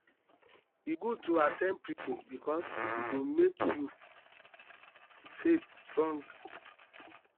e good to at ten d preaching bikus e go mek yur faith strong